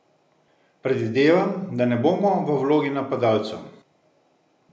Predvidevam, da ne bomo v vlogi napadalcev.